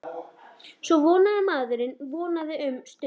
Svo vonaði maður, vonaði um stund.